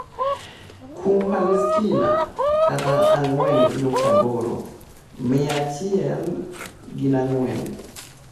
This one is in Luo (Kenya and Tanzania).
Kuom Palestina (ang'wen nukta aboro) mia achiel ginang'wen.